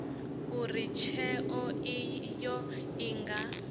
uri tsheo iyo i nga